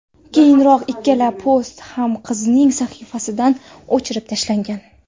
Keyinroq ikkala post ham qizning sahifasidan o‘chirib tashlangan.